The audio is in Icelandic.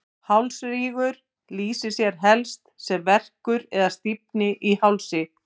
hálsrígur lýsir sér helst sem verkur eða stífni í hálsi